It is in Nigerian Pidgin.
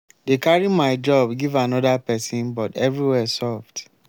dey carry my job give another person but everywhere soft.